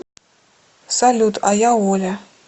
салют а я оля